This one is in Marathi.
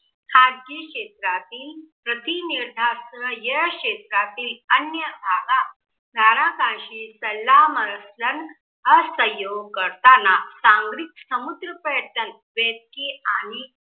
खाजगी क्षेत्रातील प्रतीनिर्धास्त या शेत्रातील अन्य धारा धारासाशी सल्ला मसलन असहयोग करताना संग्रिक समुद पर्यटन बेतले. आणि